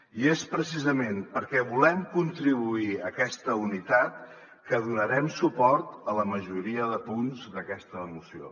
i és precisament perquè volem contribuir a aquesta unitat que donarem suport a la majoria de punts d’aquesta moció